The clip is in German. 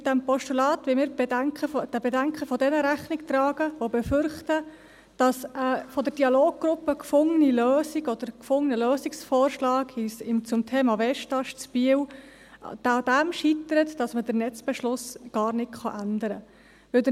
Mit diesem Postulat wollen wir den Bedenken jener Rechnung tragen, die befürchten, dass eine von der Dialoggruppe gefundene Lösung oder ein gefundener Lösungsvorschlag zum Thema Westast Biel daran scheitert, dass man den Netzbeschluss gar nicht ändern kann.